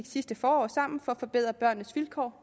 sidste forår for at forbedre børnenes vilkår